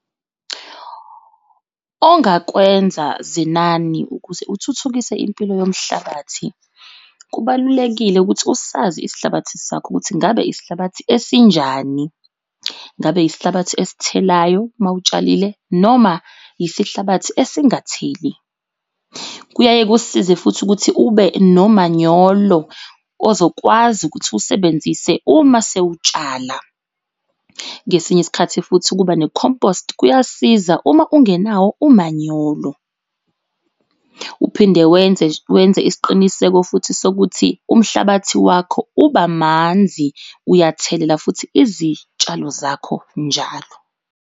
Ongakwenza Zenani ukuze uthuthukise impilo yomhlabathi kubalulekile ukuthi usazi isihlabathi sakho ukuthi ngabe isihlabathi esinjani? Ngabe yisihlabathi esithelayo uma utshalile noma yisihlabathi esingatheli? Kuyaye kusize futhi ukuthi ube nomanyolo ozokwazi ukuthi usebenzise uma sewutshala. Ngesinye isikhathi futhi ukuba ne-compost kuyasiza uma ungenawo umanyolo. Uphinde wenze wenze isiqiniseko futhi sokuthi umhlabathi wakho uba manzi uyathelela futhi izitshalo zakho njalo.